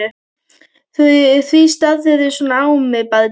Því starirðu svona á mig barn?